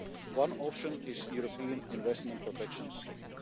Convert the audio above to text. own. One option is the European investment protection